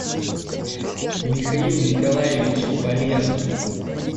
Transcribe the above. михаил николаевич полен